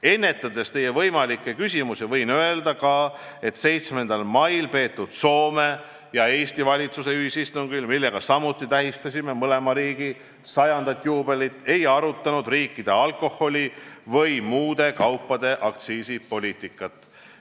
Ennetades teie võimalikke küsimusi, võin öelda, et 7. mail peetud Soome ja Eesti valitsuse ühisistungil, millega samuti tähistasime mõlema riigi 100. aasta juubelit, ei arutatud meie riikide alkoholiaktsiisipoliitikat või muude kaupade aktsiisipoliitikat.